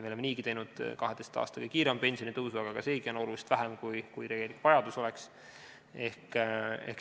Me oleme niigi teinud 12 aasta kõige kiirema pensionitõusu, aga seegi on oluliselt vähem, kui oleks tegelik vajadus.